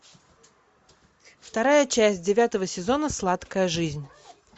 вторая часть девятого сезона сладкая жизнь